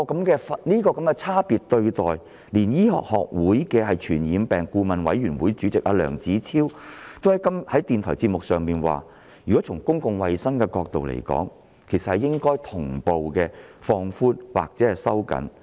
這種差別對待，連香港醫學會傳染病顧問委員會主席梁子超也在電台節目上指出，從公共衞生的角度而言，措施應同步放寬或收緊。